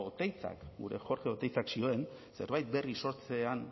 oteizak gure jorge oteizak zioen zerbait berri sortzean